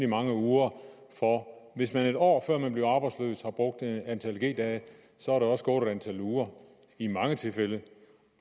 mange uger for hvis man et år før man bliver arbejdsløs har brugt et antal g dage så er der også gået et antal uger i mange tilfælde